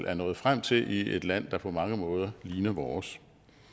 er nået frem til i et land der på mange måder ligner vores